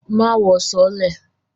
Má wọ sọọ́lẹ̀!